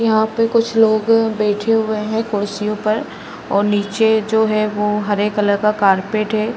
यहाँ पे कुछ लोग बैठे हुए हैं कुर्सियों पर और नीचे जो हैं वो हरे कलर कारपेट है।